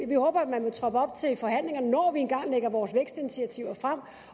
vi håber at man vil troppe op til forhandlingerne når vi engang lægger vores vækstinitiativer frem